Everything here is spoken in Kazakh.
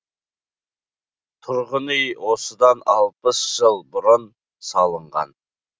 тұрғын үй осыдан алпыс жыл бұрын салынған